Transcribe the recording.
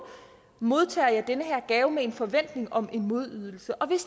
modtager jeg den her gave med en forventning om en modydelse og hvis